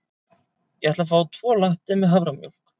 Ég ætla að fá tvo latte með haframjólk.